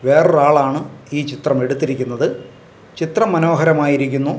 വേറൊരാളാണ് ഈ ചിത്രം എടുത്തിരിക്കുന്നത് ചിത്രം മനോഹരമായിരിക്കുന്നു.